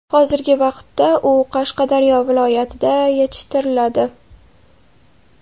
Hozirgi vaqtda u Qashqadaryo viloyatida yetishtiriladi.